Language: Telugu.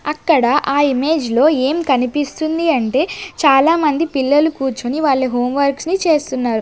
అక్కడ ఆ ఇమేజ్ లో ఏం కనిపిస్తుంది అంటే చాలామంది పిల్లలు కూర్చుని వాళ్ళ హోంవర్క్స ని చేస్తున్నారు.